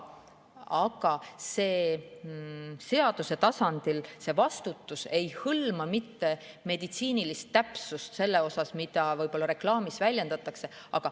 Aga seaduse tasandil ei hõlma see vastutus mitte meditsiinilist täpsust selles osas, mida reklaamis väljendatakse.